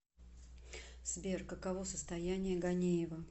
сбер каково состояние ганеева